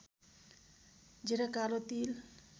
जीरा कालो तिल